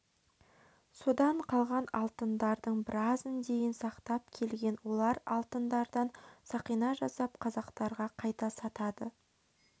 содан қалған алтындардың біразын дейін сақтап келген олар алтындардан сақина жасап қазақтарға қайта сатады